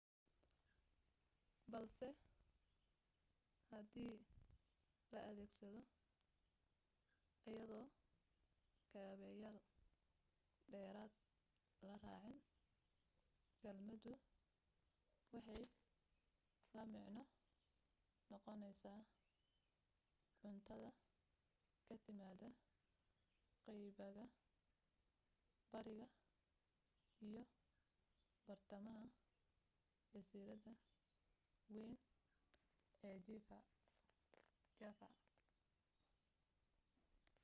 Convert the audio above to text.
balse hadii la adeegsado iyadoo kaabeyaal dheeraada la raacin kelmaddu waxay la macno noqonaysaa cuntada ka timaada qaybaga bariga iyo badhtamaha jasiiradda wayn ee java